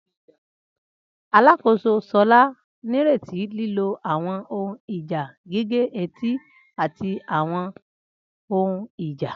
Alakoso Shola nireti lilo awọn ohun ija gige-eti ati awọn ohun ija.